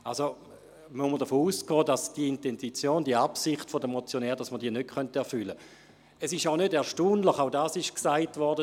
Man muss also davon ausgehen, dass wir die Intention, die Absicht der Motionäre, nicht erfüllen können.